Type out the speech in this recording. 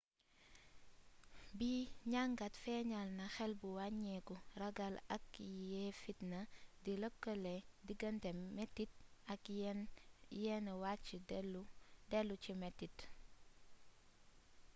bi njangaat féñaal na xel bu wañekku ragal ak ye fitna di lëkkale digante metit ak yenn wacc delu ci metit